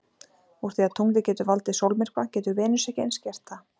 Úr því að tunglið getur valdið sólmyrkva getur Venus ekki eins gert það?